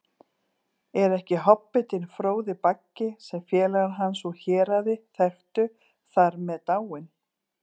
Er ekki hobbitinn Fróði Baggi, sem félagar hans úr Héraði þekktu, þar með dáinn?